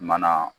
Mana